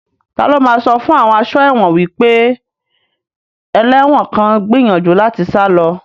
Ta ló máa sọ fún àwọn aṣọ́ ẹ̀wọ̀n wípé ẹlẹ́wọ̀n kan ń gbìyànjú láti sá lọ